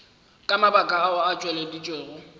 ka mabaka ao a tšweleditšwego